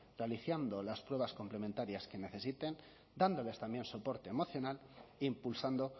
realizando las pruebas complementarias que necesiten dándoles también soporte emocional e impulsando